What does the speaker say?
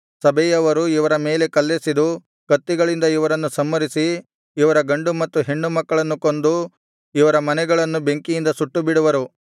ಸಭೆಯವರು ಇವರ ಮೇಲೆ ಕಲ್ಲೆಸೆದು ಕತ್ತಿಗಳಿಂದ ಇವರನ್ನು ಸಂಹರಿಸಿ ಇವರ ಗಂಡು ಮತ್ತು ಹೆಣ್ಣು ಮಕ್ಕಳನ್ನು ಕೊಂದು ಇವರ ಮನೆಗಳನ್ನು ಬೆಂಕಿಯಿಂದ ಸುಟ್ಟುಬಿಡುವರು